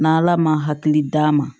N'ala ma hakili d'a ma